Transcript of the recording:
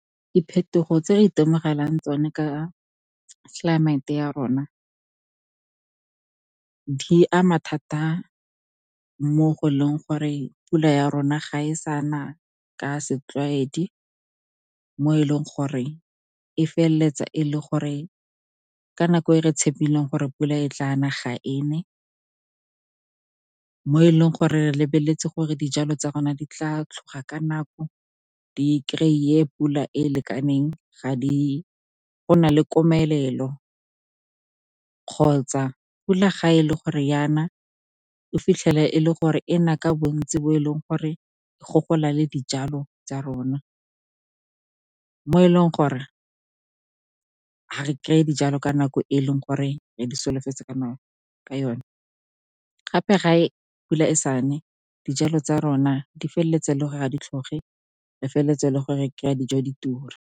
Diphetogo tse re itemogelang tsone ka tlelaemete ya rona di ama thata mo go leng gore pula ya rona ga e sane ka setlwaedi, mo e leng gore e feleletsa e le gore ka nako e re tshepileng gore pula e tla nna, ga e nne. Mo e leng gore re lebeletse gore dijalo tsa rona di tla tlhoga ka nako, di kry-e pula e lekaneng, go nna le komelelo kgotsa pula, ga e le gore e na, o fitlhele e le gore e na ka bontsi, bo e leng gore e gogola le dijalo tsa rona. Mo e leng gore ha re kry-e dijalo ka nako e leng gore re di solofetse ka yona, gape ga pula e sa ne, dijalo tsa rona di feleletsa e le gore ga di tlhoge, re feleletsa e le gore kry-a dijo di tura.